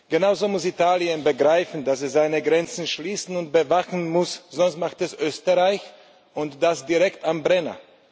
Genauso muss Italien begreifen, dass es seine Grenzen schließen und bewachen muss, sonst macht es Österreich, und das direkt am Brenner.